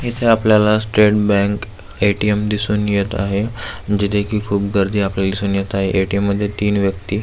इथे आपल्याला State Bank ATM. दिसून येत आहे जिथे की खूप गर्दी आपल्याला दिसून येत आहे ए.टी.एम. मध्ये तीन व्यक्ति--